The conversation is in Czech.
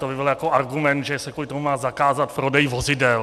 To by byl jako argument, že se kvůli tomu má zakázat prodej vozidel.